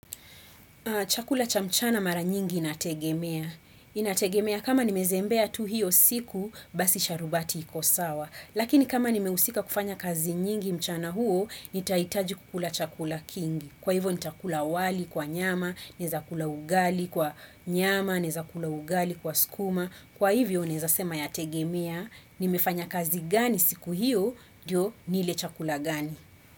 Chakula cha mchana mara nyingi inategemea. Inategemea kama nimezembea tu hio siku basi sharubati iko sawa. Lakini kama nimehusika kufanya kazi nyingi mchana huo, nitahitaji kukula chakula kingi. Kwa hivyo nitakula wali kwa nyama, naweza kula ugali kwa nyama, naweza kula ugali kwa sukuma. Kwa hivyo naweza sema yategemea nimefanya kazi gani siku hiyo, ndio nile chakula gani.